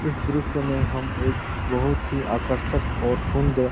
इस दृश्य में हम एक बहुत ही आकर्षक और सुंदर --